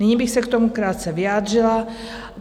Nyní bych se k tomu krátce vyjádřila.